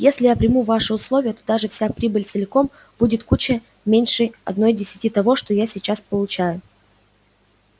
если я приму ваши условия то даже вся прибыль целиком будет куда меньше одной десятой того что я сейчас получаю